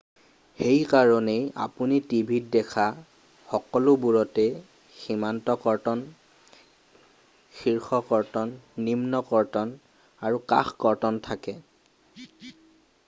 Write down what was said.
সেইকাৰণেই আপুনি টিভিত দেখা সকলোবোৰতে সীমান্ত কৰ্তন শীৰ্ষ কৰ্তন, নিম্ন কৰ্তন আৰু কাষ কৰ্তন থাকে ।